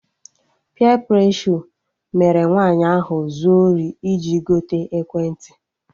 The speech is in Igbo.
Peer preshọ mere nwaanyị ahụ zuo ori iji gote ekwentị